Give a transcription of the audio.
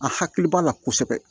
A hakili b'a la kosɛbɛ